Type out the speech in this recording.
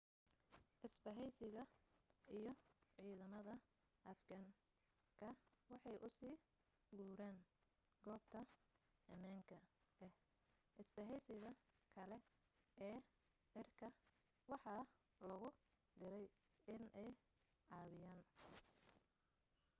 isbaheysiga iyo ciidamada afghan ka waxay u sii guureen goobta amaanka ah isbaheysiga kale ee cirka waxaa logu direy in ay caawiyaan